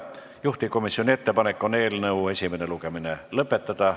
Juhtivkomisjoni ettepanek on eelnõu esimene lugemine lõpetada.